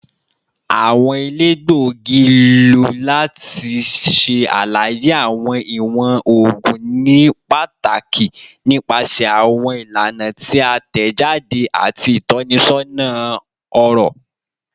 Awọn elegbogi lo lati ṣe alaye awọn iwọn oogun nipataki nipasẹ awọn ilana ti a tẹjade ati itọnisọna ọrọ